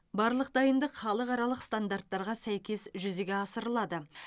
барлық дайындық халықаралық стандарттарға сәйкес жүзеге асырылады